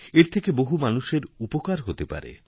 এর থেকে বহু মানুষের উপকার হতে পারে